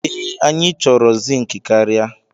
Ee, anyị chọrọ zink karịa.